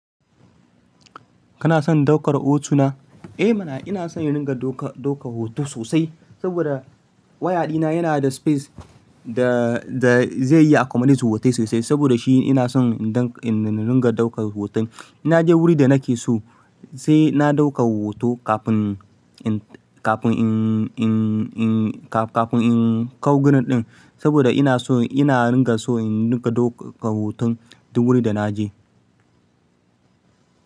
Kana son daukar hoto na? Eh mana ina son indinga dauka, daukan hoto sosai. Saboda waya dina yana da space da, da zai iya accommodate hotai sosai. Saboda shi ina son indinga daukan hoton. In naje wuri da nake so sai na dauka hoto kafin in, kafin in, in, in, ka, kafin in kawo guri ɗin. Saboda ina so ina ringa so in dinga daukan hoton duk wurin da na je.